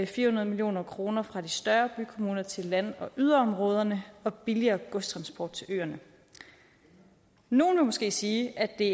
fire hundrede million kroner fra de større bykommuner til land og yderområderne og billigere godstransport til ørerne nogle vil måske sige at det